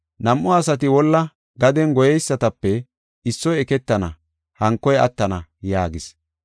Nam7u asati wolla gaden goyeysatape issoy eketana, hankoy attana” yaagis.